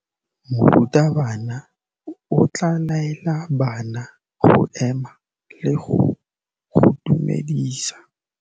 Morutabana o tla laela bana go ema le go go dumedisa.